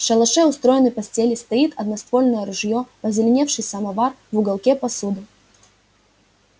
в шалаше устроены постели стоит одноствольное ружье позеленевший самовар в уголке посуда